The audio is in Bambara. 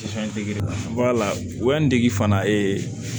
Fɛn dege dege fana